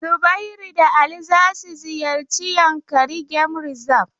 Zubairu da Ali za su ziyarci Yankari game reserve.